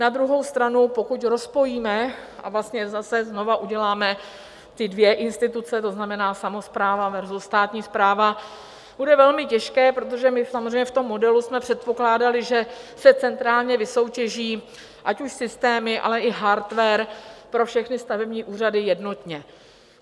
Na druhou stranu, pokud rozpojíme a vlastně zase znovu uděláme ty dvě instituce, to znamená samospráva versus státní správa, bude velmi těžké, protože my samozřejmě v tom modelu jsme předpokládali, že se centrálně vysoutěží, ať už systémy, ale i hardware pro všechny stavební úřady jednotně.